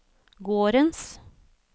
gårdens